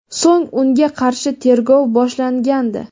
So‘ng unga qarshi tergov boshlangandi.